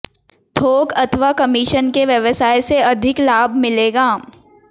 थोक अथवा कमीशन के व्यवसाय से अधिक लाभ मिलेगा